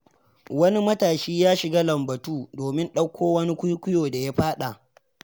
Wani matashi ya shiga lambatu, domin ɗauko wani kuikuyo da ya faɗa.